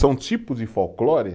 São tipos de folclore.